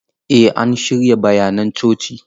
Eh an shirya bayanan coci.